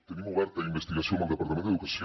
tenim oberta investigació amb el departament d’educació